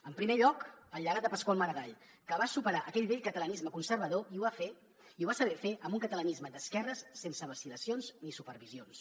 en primer lloc el llegat de pasqual maragall que va superar aquell vell catalanisme conservador i ho va fer i ho va saber fer amb un catalanisme d’esquerres sense vacil·lacions ni supervisions